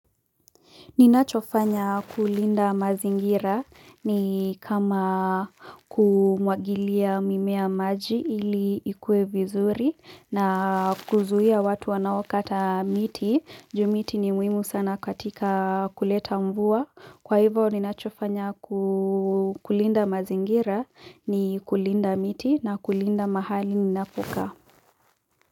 Ninachofanya kulinda mazingira ni kama kumwagilia mimea maji ili ikue vizuri na kuzuhia watu wanao kata miti, kwa sababu miti ni muhimu sana katika kuleta mvua. Kwa hivyo, ninachofanya kulinda mazingira ni kulinda miti na kulinda mahali ninapokaa.